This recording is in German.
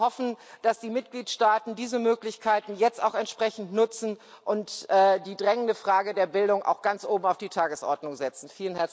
Ich kann nur hoffen, dass die Mitgliedstaaten diese Möglichkeiten jetzt auch entsprechend nutzen und die drängende Frage der Bildung auch ganz oben auf die Tagesordnung setzen.